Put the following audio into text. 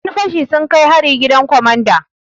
Yan fashi sun kai hari gidan komanda.